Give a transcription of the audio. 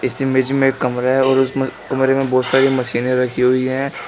इस इमेज में एक कमरा है और उसमें कमरे में बहोत सारी मशीने रखी हुई है।